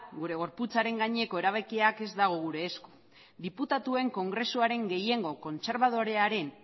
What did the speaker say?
gure gorputzaren gaineko erabakiak ez daude gure esku diputatuen kongresuaren gehiengo kontserbadorearen